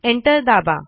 enter दाबा